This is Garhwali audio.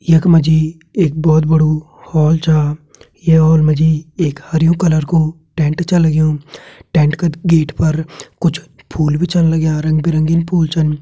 यख मा जी एक बोहोत बड़ु होल च ये होल म जी एक हरयूं कलर कु टेंट छ लग्युं टेंट का गेट पर कुछ फूल भी छन लाग्यां रंग बिरंगिन फूल छन।